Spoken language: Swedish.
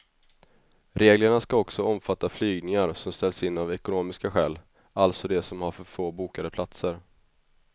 Reglerna ska också omfatta flygningar som ställs in av ekonomiska skäl, alltså de som har för få bokade platser.